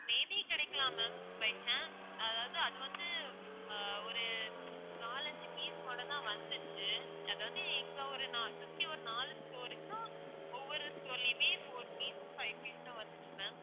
may be கிடைக்கலாம் ma'am by chance அதாவது அது வந்து ஆஹ் ஒரு நாலஞ்சு piece போல தான் வந்திச்சு அதாவது இங்க ஒரு சுத்திவர நாலு store க்கு ஒவ்வொரு store லயுமே four piece five piece தான் வந்திச்சு ma'am